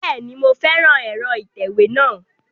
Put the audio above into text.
Bẹ́ẹ̀ni, mo fẹ́ran ẹ̀rọ ìtẹ̀wé náà